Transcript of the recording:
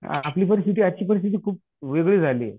आपली परिस्थिती आजची परिस्थिती खूपवेगळी झाली आहे.